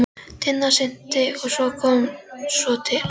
Tinna synti og kom svo til hans.